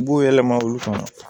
U b'o yɛlɛma olu kan